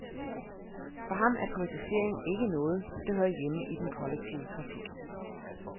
For ham er privatisering ikke noget, der hører hjemme i den kollektive trafik.